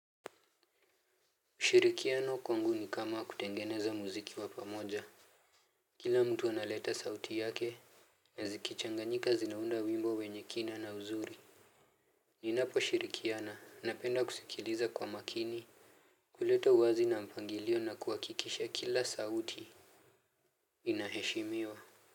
Ushirikiano kwangu ni kama kutengeneza muziki wa pamoja. Kila mtu analeta sauti yake na zikichanganyika zinaunda wimbo wenye kina na uzuri. Ninaposhirikiana napenda kusikiliza kwa makini kuleta uwazi na mpangilio na kuhakikisha kila sauti inaheshimiwa.